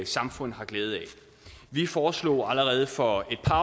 samfund har glæde af vi foreslog allerede for et par